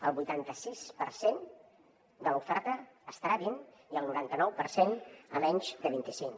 el vuitanta sis per cent de l’oferta estarà a vint i el noranta nou per cent a menys de vint i cinc